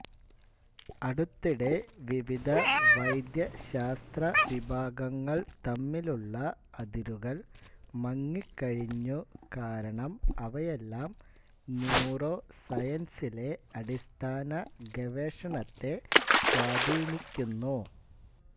അടുത്തിടെ വിവിധ വൈദ്യശാസ്ത്ര വിഭാഗങ്ങൾ തമ്മിലുള്ള അതിരുകൾ മങ്ങിക്കഴിഞ്ഞു കാരണം അവയെല്ലാം ന്യൂറോ സയൻസിലെ അടിസ്ഥാന ഗവേഷണത്തെ സ്വാധീനിക്കുന്നു